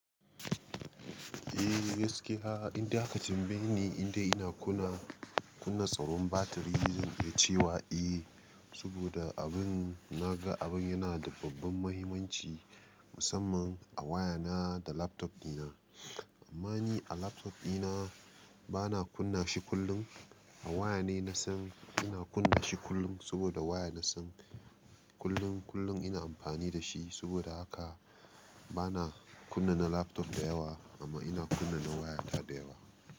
Eh gaskiya, inda ka tambaye ni inda ina kunna, kunna tsawon batiri zan ce wa eh, saboda abin na ga abin yana da babban mahimmanci musamman a waya na da laptop dina. Amma ni a laptop dina ba na kunna shi kullum. A waya na san ina kunna shi kullum saboda waya na san kullum, kullum ina amfani da shi saboda haka ba na kunna na laptop da yawa amma ina kunna na waya ta da yawa.